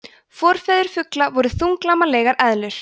forfeður fugla voru þunglamalegar eðlur